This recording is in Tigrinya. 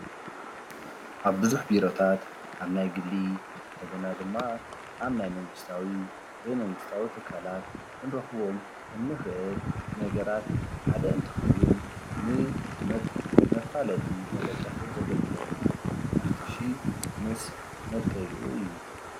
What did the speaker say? ኣብ ብዙሕ ቢሮታት ኣብ ናይ ግሊ እንደገና ድማ ኣብ ናይ መንግስታዊ ዘይመንግስታዊ ትካላት ክንረኽቦም እንኽእል ነገራት ሓደ እንትኸዉን ንመፋለጢ መደገፊ ዘገልግለና ማስቱሽ ምስ መልከይኡ እዩ ፡፡